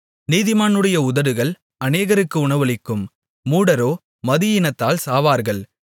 நீதிமானுடைய உதடுகள் அநேகருக்கு உணவளிக்கும் மூடரோ மதியீனத்தினால் சாவார்கள்